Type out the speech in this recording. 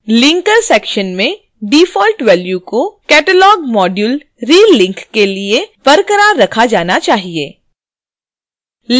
linker section में default values को catalogmodulerelink के लिए बरकरार रखा जाना चाहिए